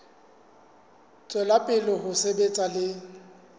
tswela pele ho sebetsa le